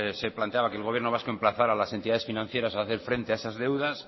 se planteaba que el gobierno vasco emplazara las entidades financieras a hacer frente a esas deudas